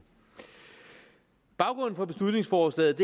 baggrunden for beslutningsforslaget